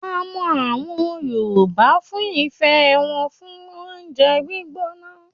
A mọ àwọn Yorùbá fún ìfẹ́ wọn fún oúnjẹ gbígbóná.